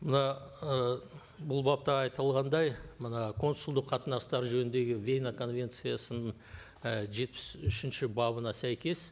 мына ы бұл бапта айтылғандай мына консулдық қатынастар жөніндегі вена конвенциясының і жетпіс үшінші бабына сәйкес